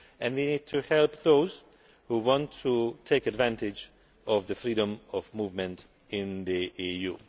We need to help those who want to take advantage of the freedom of movement in the EU.